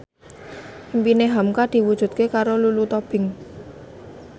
impine hamka diwujudke karo Lulu Tobing